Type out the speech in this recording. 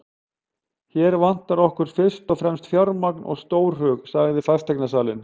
Hér vantar okkur fyrst og fremst fjármagn og stórhug, sagði fasteignasalinn.